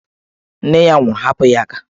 Nne ya nwụrụ, hapụ ya aka!